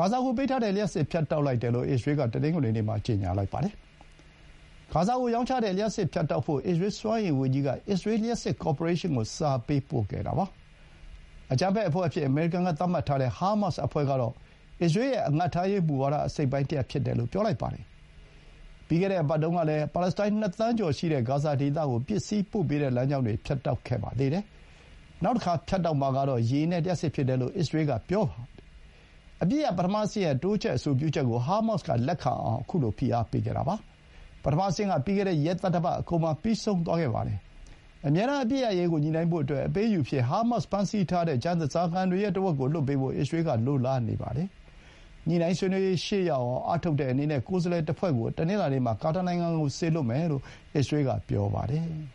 ဂါဇာကိုပေးထားတဲ့ လျှပ်စစ်မီး ဖြတ်တောက်လိုက်တယ်လို့ အစ္စရေးလ်က တနင်္ဂနွေနေ့မှာ ကြေညာလိုက်ပါတယ်။ ဂါဇာကိုရောင်းချတဲ့ လျှပ်စစ် ဖြတ်တောက်ဖို့ အစ္စရေးလ်စွမ်းအင်ဝန်ကြီးက အစ္စရေးလ်လျှပ်စစ် ကော်ပိုရေးရှင်းကို စာပေးပို့ခဲ့တာပါ။ အကြမ်းဖက်အဖွဲ့အဖြစ် အမေရိကန်က သတ်မှတ်ထားတဲ့ ဟားမတ်စ်အဖွဲ့ကတော့ အစ္စရေးလ်ရဲ့ အငတ်ထားရေးမူဝါဒ အစိတ်အပိုင်းတရပ်ဖြစ်တယ်လို့ ပြောပါတယ်။ ပြီးခဲ့တဲ့အပတ်တုန်းကလည်း ပါလက်စတိုင်း ၂ သန်းကျော်ရှိတဲ့ ဂါဇာဒေသကို ပစ္စည်းပို့ပေးတဲ့ လမ်းကြောင်းတွေ ဖြတ်တောက်ခဲ့ပါသေးတယ်။ နောက်တခါ ဖြတ်တောက်မှာကတော့ ရေနဲ့ လျှပ်စစ် ဖြစ်တယ်လို့ အစ္စရေးလ်က ပြောထားပါတယ်။ အပစ်ရပ် ပထမအဆင့်ရဲ့ တိုးချဲ့ အဆိုပြုချက်ကို ဟားမတ်စ်က လက်ခံအောင် ဖိအားပေးခဲ့တာပါ။ ပထမအဆင့်က ပြီးခဲ့တဲ့ ရက်သတ္တပတ်အကုန်မှာ ပြီးဆုံးခဲ့ပါတယ်။ အမြဲတမ်း အပစ်ရပ်ရေးကို ညှိနှိုင်းဖို့အတွက် အပေးအယူအဖြစ် ဟားမတ်စ် ဖမ်းဆီးထားတဲ့ ကျန် ဓားစာခံတွေရဲ့ ထက်ဝက်ကို လွှတ်ပေးဖို့ အစ္စရေးလ်က လိုလားနေပါတယ်။ ညှိုနှိုင်းဆွေးနွေးရေး ရှေ့ရောက်အောင် အားထုတ်တဲ့အနေနဲ့ ကိုယ်စားလှယ်တဖွဲ့ကို တနင်္လာနေ့မှာ ကာတာနိုင်ငံကို စေလွှတ်မယ်လို့ အစ္စရေးလ်က ပြောပါတယ်။